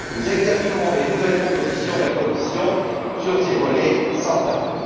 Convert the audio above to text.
Nous examinerons les nouvelles propositions de la Commission sur ces volets sans tarder.